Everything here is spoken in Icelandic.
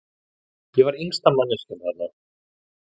Ég var yngsta manneskjan þarna.